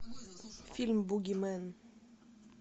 фильм бугимен